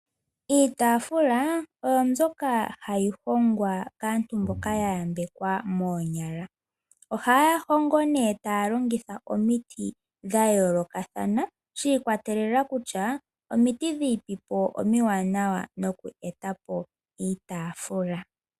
Iitaafula oyo mbyoka hayi hongwa kaantu mboka ya yambekwa moonyala. Ohaya hongo nee taya longitha omiti dha yoolokathana shi ikwatelela kutya omiti dhini po omiwanawa nokweeta po iitaafula.